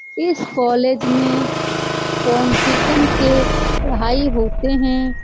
इस कोलेज में पोंनटिकन के पढ़ाई होते हैं।